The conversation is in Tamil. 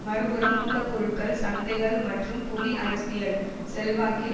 மறு புறம் மூலப்பொருட்கள் சந்தைகள் மற்றும் புவி அரசியல் செல்வாக்கில்